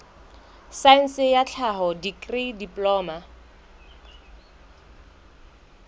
saense ya tlhaho dikri diploma